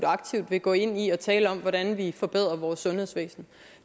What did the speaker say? og aktivt vil gå ind i at tale om hvordan vi forbedrer vores sundhedsvæsen